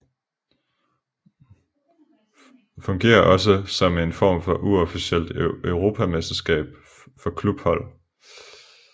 Fungerer også som en form for uofficielt europamesterskab for klubhold